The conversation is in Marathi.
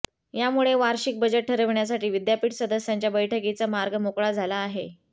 यामुळे वार्षीक बजेट ठरविण्यासाठी विद्यापीठ सदस्यांच्या बैठकीचा मार्ग मोकळा झाला आहे